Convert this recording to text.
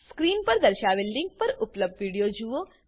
screen પર દર્શાવેલ link પર ઉપલબ્ધ વિડીયો જુઓ